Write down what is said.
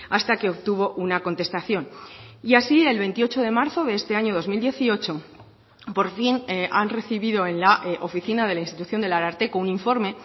hasta que obtuvo una contestación y así el veintiocho de marzo de este año dos mil dieciocho por fin han recibido en la oficina de la institución del ararteko un informe